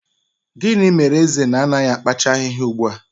Gịnị mere eze na-anaghị akpacha ahịhịa ugbu a?